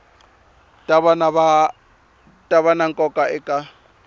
ta va na nkoka eka